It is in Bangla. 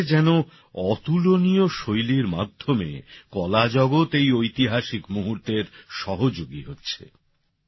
মনে হচ্ছে যেন অতলনীয় শৈলীর মাধ্যমে কলাজগৎ এই ঐতিহাসিক মুহূর্তের সহযোগী হচ্ছে